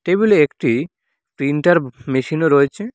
Table -এ একটি printer machine -ও রয়েছে।